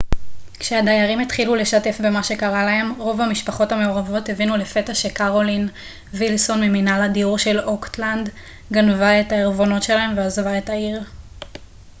כשהדיירים התחילו לשתף במה שקרה להם רוב המשפחות המעורבות הבינו לפתע שקרולין וילסון מממנהל הדיור של אוקטלנד גנבה את הערבונות שלהם ועזבה את העיר